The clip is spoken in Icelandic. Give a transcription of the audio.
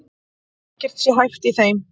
Ekkert sé hæft í þeim